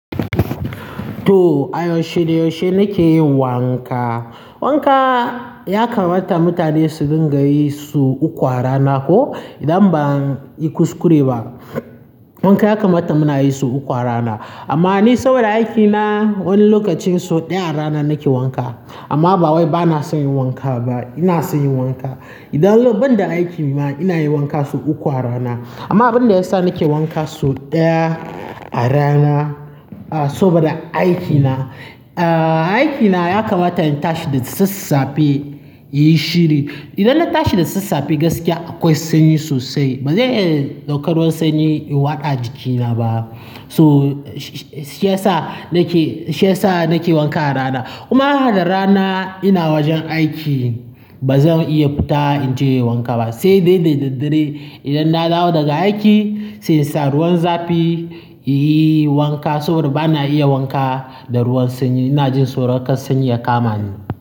To, a yaushe da yaushe nake yin wanka. Wanka ya kamata mutane su dinga yi sau uku a rana ko idan ban yi kuskure ba. Wanka ya kamata muna yi su uku a rana. Amma ni saboda aikina wani lokacin sau ɗaya a rana nake wanka. Amma ba wai bana son yin wanka ba, ina son yin wanka. Idan ban da aiki ma ina yin wanka so uku a rana. Amma abin da yasa nake wanka sau ɗaya a rana, ah, saboda aikina. Ah, aikina ya kamata in tashi da sassafe, inyi shiri. Idan na tashi da sassafe gaskiya akwai sanyi sosai. Ba zan iya ɗaukar ruwan sanyi in watsa a jikina ba. To, shi ya sa nake, shi ya sa nake wanka a rana. Kuma da ranar ina wajen aiki ba zan iya fita in je wanka ba, sai daidai da dare idan na dawo daga aiki sai insa ruwan zafi in yi wanka saboda ba na iya wanka da ruwan sanyi. Ina jin tsoro kar sanyi ya kama ni.